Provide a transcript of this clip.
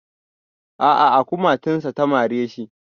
A a a kumatunsa ta mare shi.